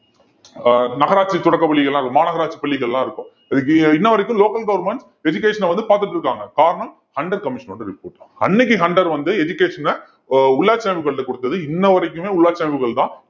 அஹ் நகராட்சி தொடக்கப்பள்ளிகள்லாம் இரு~ மாநகராட்சி பள்ளிகள்லாம் இருக்கும் இதுக்கு இன்ன வரைக்கும் local government education அ வந்து பாத்துட்டிருக்காங்க காரணம் ஹண்டர் commission ஓட report அன்னைக்கு ஹண்டர் வந்து education அ உள்ளாட்சி அமைப்புகள்ட்ட குடுத்தது இன்ன வரைக்குமே உள்ளாட்சி அமைப்புகள்தான்